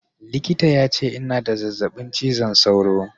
Likita ya ce ina da zazzaɓin cizon sauro